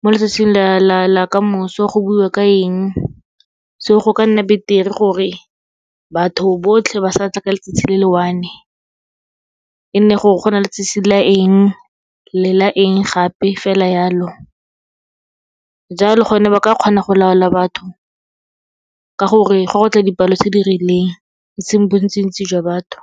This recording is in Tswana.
mo letsatsing la kamoso go buiwa ka eng, so go ka nna beter-e gore batho botlhe ba satla ka letsatsi le le one, e nne gore go na le letsatsi la eng le la eng, gape fela yalo. Jalo gone ba ka kgona go laola batho, ka gore gwa go tla dipalo tse di rileng, e seng bontsintsi jwa batho.